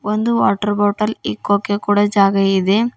ಒಂದು water bottle ಇಕ್ಕೊಕೆ ಕೂಡ ಜಾಗ ಇದೆ.